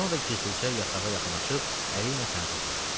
Sonra da gizlicə yatağa yaxınlaşıb əliylə sənə toxunar.